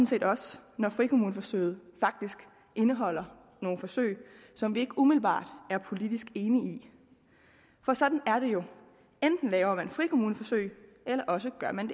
set også når frikommuneforsøget faktisk indeholder nogle forsøg som vi ikke umiddelbart er politisk enige i for sådan er det jo enten laver man frikommuneforsøg eller også gør man